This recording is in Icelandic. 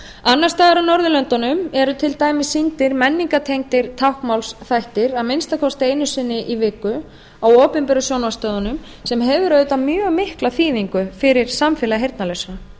annars staðar á norðurlöndunum eru til dæmis sýndir menningartengdir táknmálsþættir að minnsta kosti einu sinni í viku á opinberu sjónvarpsstöðvunum sem hefur auðvitað mjög mikla þýðingu fyrir samfélag